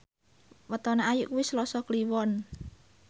wetone Ayu kuwi Selasa Kliwon